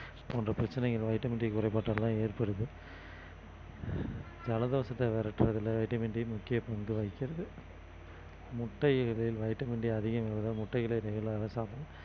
போன்ற பிரச்சனைகள் vitamin D குறைபாட்டுலதான் ஏற்படுது ஜலதோஷத்தை விரட்டறதல vitamin D முக்கிய பங்கு வகிக்கிறது முட்டைகளில் vitamin D அதிகம் உள்ளதால் முட்டைகளை சாப்பிடணும்